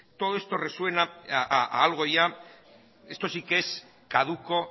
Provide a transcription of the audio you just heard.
todo esto resuena a algo ya esto sí que es caduco